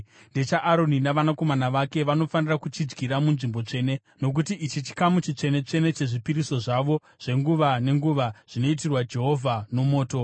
NdechaAroni navanakomana vake, vanofanira kuchidyira munzvimbo tsvene, nokuti ichi chikamu chitsvene-tsvene chezvipiriso zvavo zvenguva nenguva zvinoitirwa Jehovha nomoto.”